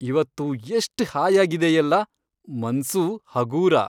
ಇವತ್ತು ಎಷ್ಟ್ ಹಾಯಾಗಿದೆ ಎಲ್ಲ! ಮನ್ಸೂ ಹಗೂರ.